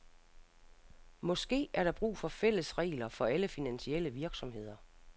Måske er der brug for fælles regler for alle finansielle virksomheder.